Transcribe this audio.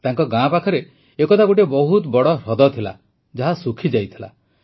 ତାଙ୍କ ଗାଁ ପାଖରେ ଏକଦା ଗୋଟିଏ ବହୁତ ବଡ଼ ହ୍ରଦ ଥିଲା ଯାହା ଶୁଖିଯାଇଥିଲା